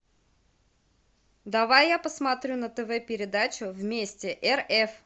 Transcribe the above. давай я посмотрю на тв передачу вместе рф